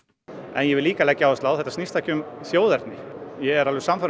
ég vil líka leggja áherslu á að þetta snýst ekki um þjóðerni ég er sannfærður